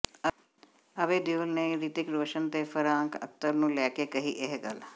ਅਭੈ ਦਿਓਲ ਨੇ ਰਿਤਿਕ ਰੋਸ਼ਨ ਤੇ ਫਰਹਾਨ ਅਖਤਰ ਨੂੰ ਲੈ ਕੇ ਕਹੀ ਇਹ ਗੱਲ